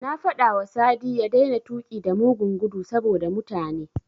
Na faɗawa Sadi ya daina tuƙi da mugun gudu saboda mutane.